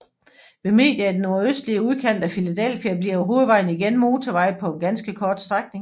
Ved Media i den nordøstlige udkant af Philadelphia bliver hovedvejen igen motorvej på en ganske kort strækning